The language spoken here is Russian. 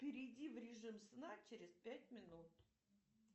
перейди в режим сна через пять минут